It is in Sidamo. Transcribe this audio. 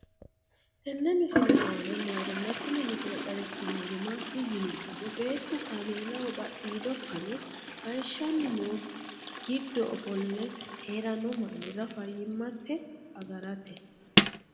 tenne misile aana noorina tini misile xawissannori maati yinummoro beettu kaamelaho badhiido fanne hayiishanni noo giddo ofolle haranno mannira fayiimmatte agaratte